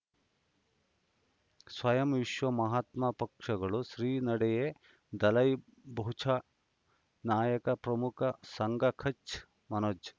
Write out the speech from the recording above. ಸ್ವಯಂ ವಿಶ್ವ ಮಹಾತ್ಮ ಪಕ್ಷಗಳು ಶ್ರೀ ನಡೆಯಾ ದಲೈ ಬೌಚೌ ನಾಯಕ ಪ್ರಮುಖ ಸಂಘ ಕಚ್ ಮನೋಜ್